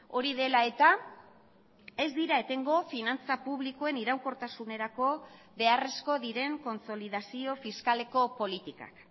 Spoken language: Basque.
hori dela eta ez dira etengo finantza publikoen iraunkortasunerako beharrezko diren kontsolidazio fiskaleko politikak